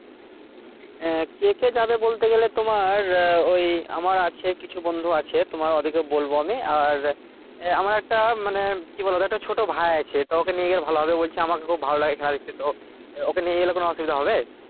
আঃ কে কে তোমার ওই আমার আছে কিছু বন্ধু আছে তো ওই ওদেরকে বলবো আমি আর আমার একটা মানে কি বলতো একটা ছোট ভাই আছে তো ওখানে নিয়ে গেলে খুব ভালো হবে বলছে আমাকে খুব ভালো লাগে খেলা দেখতে তো, ওকে নিয়ে গেলে কোনো অসুবিধা হবে?